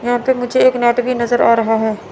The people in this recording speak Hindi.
यहां पे मुझे एक नेट भी नजर आ रहा है।